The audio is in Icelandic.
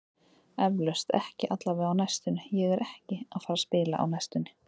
Eflaust, ekki allavega á næstunni, ég er ekki að fara að spila á næstunni.